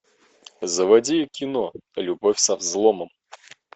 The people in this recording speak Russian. заводи кино любовь со взломом